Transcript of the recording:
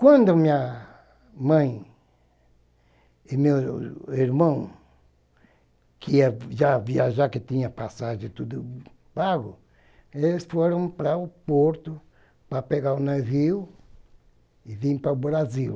Quando minha mãe e meu irmão, que já viajavam, que tinham passagens e tudo, pagam, eles foram para o porto para pegar o navio e vim para o Brasil.